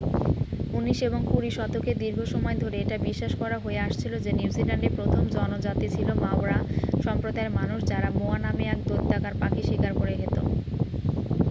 উনিশ এবং কুড়ি শতকের দীর্ঘ সময় ধরে এটা বিশ্বাস করা হয়ে আসছিল যে নিউজিল্যান্ডের প্রথম জনজাতি ছিল মাওরা সম্প্রদায়ের মানুষ যাঁরা মোয়া নামে এক দৈত্যাকার পাখি শিকার করে খেত